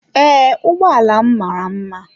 Ee, ụgbọala m mara mma.